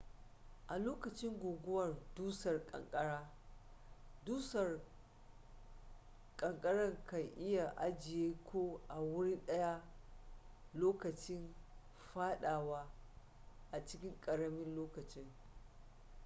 a lokacin guguwar dusar kankara dusar kanakara kan iya ajiye ku a wuri daya lokacin fadawa a cikin karamin lokaci